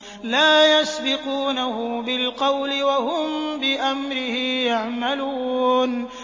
لَا يَسْبِقُونَهُ بِالْقَوْلِ وَهُم بِأَمْرِهِ يَعْمَلُونَ